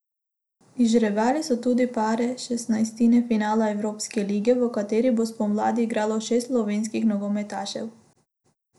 Izžrebali so tudi pare šestnajstine finala Evropske lige, v kateri bo spomladi igralo šest slovenskih nogometašev.